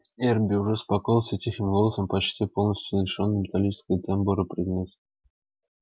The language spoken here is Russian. эрби уже успокоился и тихим голосом почти полностью лишённым металлического тембра произнёс